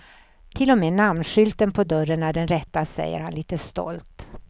Till och med namnskylten på dörren är den rätta, säger han lite stolt.